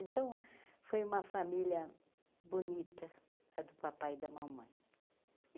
Então foi uma família bonita a do papai e da mamãe.